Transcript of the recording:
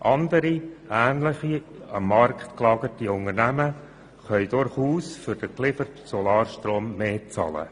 Andere ähnlich am Markt gelagerte Unternehmen können durchaus für den gelieferten Solarstrom mehr bezahlen.